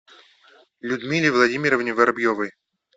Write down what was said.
людмиле владимировне воробьевой